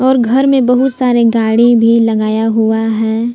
और घर में बहुत सारे गाड़ी भी लगाया हुआ हैं।